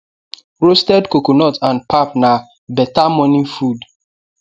roasted coconut and pap na better morning food